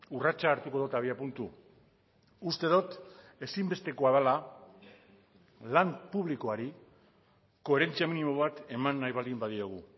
urratsa hartuko dut abiapuntu uste dut ezinbestekoa dela lan publikoari koherentzia minimo bat eman nahi baldin badiogu